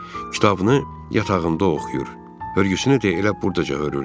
Kitabını yatağında oxuyur, hörgüsünü də elə burdaca hörürdü.